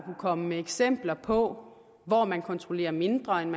komme med eksempler på hvor man kontrollerer mindre end